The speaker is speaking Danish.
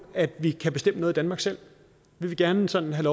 at vi kan bestemme noget i danmark selv vi vil gerne sådan have